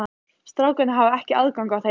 Strákarnir hafa ekki aðgang að þeim?